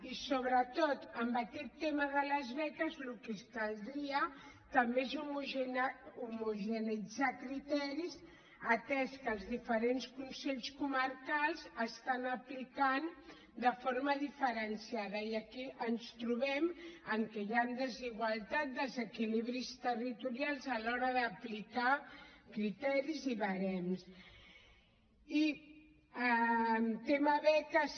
i sobretot en aquest tema de les beques el que caldria també és homogeneïtzar criteris atès que els diferents consells comarcals les apliquen de forma diferenciada i aquí ens trobem que hi han desigualtats desequilibris territorials a l’hora d’aplicar criteris i barems